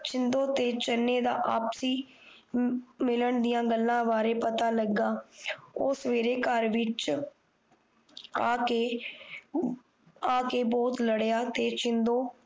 ਸ਼ਿੰਦੋ ਤੇ ਚੰਨੇ ਦਾ ਆਪਸੀ ਮਿਲਣ ਦੀਆਂ ਗੱਲਾਂ ਬਾਰੇ ਪਤਾ ਲੱਗਾ ਉਹ ਸਵੇਰੇ ਘਰ ਵਿੱਚ ਆ ਕ ਬਹੁਤ ਲੜਿਆ ਤੇ ਸ਼ਿੰਦੋ